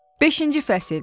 Beşinci fəsil.